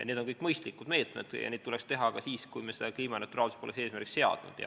Need on kõik mõistlikud meetmed ja neid tuleks võtta ka siis, kui me kliimaneutraalsust poleks eesmärgiks seadnud.